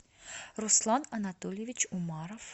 руслан анатольевич умаров